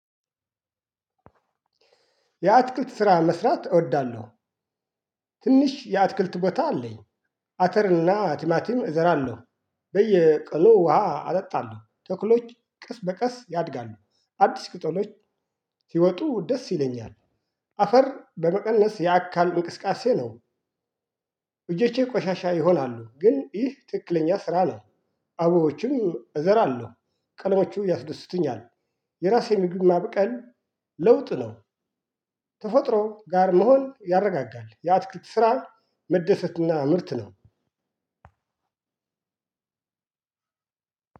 የአትክልት ስራ መስራት እወዳለሁ። ትንሽ የአትክልት ቦታ አለኝ። አተርና ቲማቲም እዘራለሁ በየቀኑ ውሃ አጠጣለሁ ተክሎች ቀስ በቀስ ያድጋሉ አዲስ ቅጠሎች ሲወጡ ደስ ይለኛል። አፈር በመቀነስ የአካል እቅስቃሴ ነው። እጆቼ ቆሻሻ ይሆናሉ ግን ይህ ትክክለኛ ስራ ነው። አቡቦችም እዘራለሁ ቀለሞቹ ያስደስቱኛል። የራሴ ምግብ ማብቀል ለውጥ ነው። ተፈጥሮ ጋር መሆን ያረጋጋል የአትክልት ስራ መደሰትና ምርት ነው።